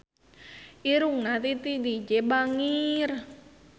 Irungna Titi DJ bangir